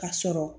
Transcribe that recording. Ka sɔrɔ